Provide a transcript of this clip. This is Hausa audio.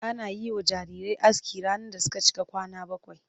Ana yi wa jarirai aski ranar da suka cika kwana bakwai.